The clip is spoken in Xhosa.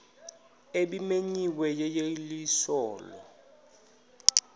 ebimenyiwe yeyeliso lo